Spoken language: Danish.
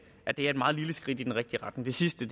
er et meget lille skridt i den rigtige retning det sidste